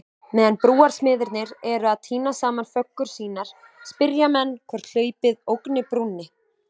Meðan brúarsmiðirnir eru að týna saman föggur sínar, spyrja menn hvort hlaupið ógni brúnni?